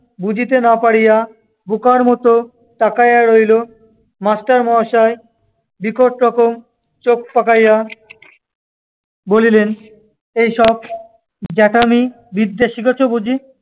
বুঝিতে না পারিয়া বোকার মতো তাকাইয়া রহিল। master মহাশয় বিকট রকম চোখ পাকাইয়া বলিলেন, এই সব জ্যাঠামি বিদ্যে শিখেচ বুঝি?